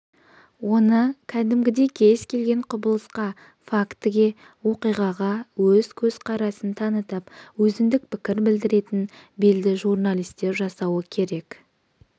оны кәдімгідей кез-келген құбылысқа фактіге оқиғаға өз көзқарасын танытып өзіндік пікір білдіретін белді журналистер жасауы керек